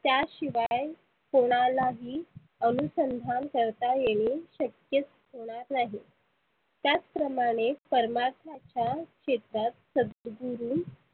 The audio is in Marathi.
त्या शिवाय कोणालाही अनुसंधान करता येणे शक्यच होणार नाही त्याच प्रमाने परमात्माच्या क्षेत्रात सदगुरु